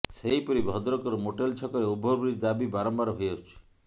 ସେହିପରି ଭଦ୍ରକର ମୋଟେଲ ଛକରେ ଓଭରବ୍ରିଜ୍ ଦାବି ବାରମ୍ବାର ହୋଇଆସୁଛି